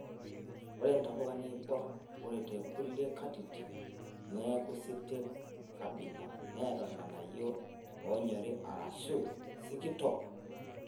Ore ntapuka neibor ore tekulie katitin neaku sitet kabila neata irng'anayio oonyori arashu sikitok.